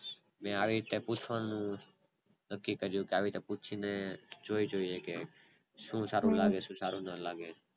ને આવી ત્યારે પૂછવાનું નક્કી કર્યું અને આવી રીતે પૂછીને જોય જોઈએ કે શું સારું લાગે શું સારું ન લાગે